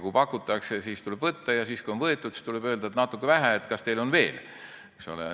Kui pakutakse, siis tuleb võtta, ja siis, kui on võetud, siis tuleb öelda, et natuke vähe, kas teil on veel.